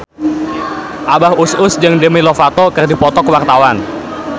Abah Us Us jeung Demi Lovato keur dipoto ku wartawan